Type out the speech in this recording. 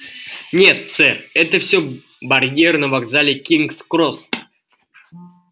нет сэр это всё барьер на вокзале кингс-кросс